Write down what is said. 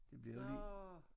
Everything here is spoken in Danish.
Det bliver li